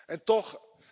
En toch.